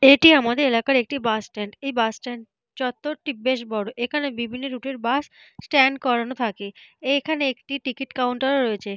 এটি আমাদের এলাকার একটি বাস স্ট্যান্ড । এই বাস স্ট্যান চত্বরটি বেশ বড়। এখানে বিভিন্ন রুট এর বাস স্ট্যান্ড করানো থাকে। এখানে একটি টিকেট কাউন্টার ও রয়েছে।